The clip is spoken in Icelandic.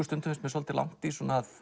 stundum svolítið langt í